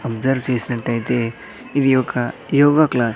Observe చేసినట్టయితే ఇది ఒక యోగ క్లాస్ .